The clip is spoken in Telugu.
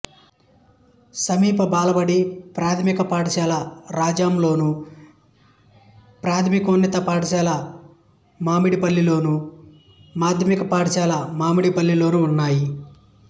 సమీప బాలబడి ప్రాథమిక పాఠశాల రాజాంలోను ప్రాథమికోన్నత పాఠశాల మామిడిపల్లిలోను మాధ్యమిక పాఠశాల మామిడిపల్లిలోనూ ఉన్నాయి